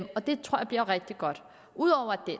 det tror jeg bliver rigtig godt